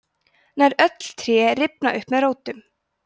nær öll tré rifna upp með rótum